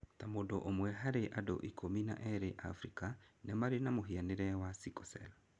Ta mũndũ ũmwe harĩ andũ ikũmi na erĩ Afrika nĩ marĩ mũhĩanĩre wa sickle cell.